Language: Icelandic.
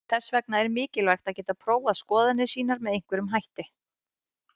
Þess vegna er mikilvægt að geta prófað skoðanir sínar með einhverjum hætti.